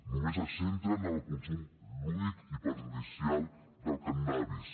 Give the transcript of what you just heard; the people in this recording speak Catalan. només es centren en el consum lúdic i perjudicial del cànnabis